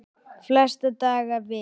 Flesta daga vik